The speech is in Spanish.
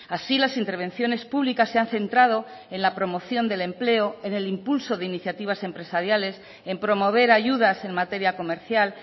así las intervenciones públicas se han centrado en la promoción del empleo en el impulso de iniciativas empresariales en promover ayudas en materia comercial